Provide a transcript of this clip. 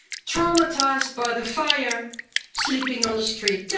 traumatised by the fire, sleeping on the street.